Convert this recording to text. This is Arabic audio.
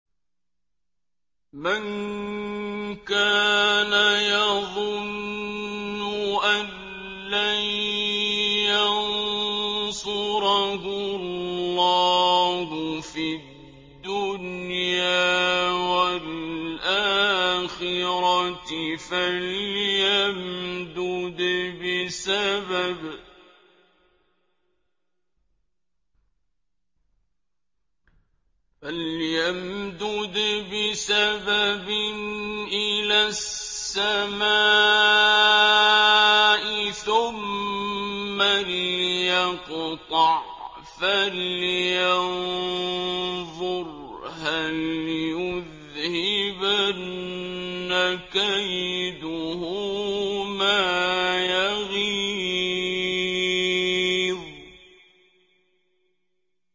مَن كَانَ يَظُنُّ أَن لَّن يَنصُرَهُ اللَّهُ فِي الدُّنْيَا وَالْآخِرَةِ فَلْيَمْدُدْ بِسَبَبٍ إِلَى السَّمَاءِ ثُمَّ لْيَقْطَعْ فَلْيَنظُرْ هَلْ يُذْهِبَنَّ كَيْدُهُ مَا يَغِيظُ